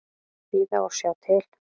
Bíða og sjá til.